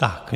Tak.